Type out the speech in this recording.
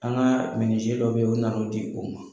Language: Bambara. An ka dɔ bɛ yen u nan'o di o ma.